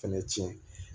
Fɛnɛ tiɲɛ